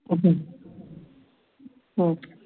OK